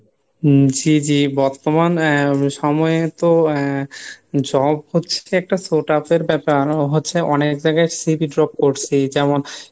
হম জি জি বর্তমান আহ সময় তো আহ job হচ্ছে একটা So tough ব্যাপার আরো হচ্ছে অনেক জায়গায় CV drop করছি যেমন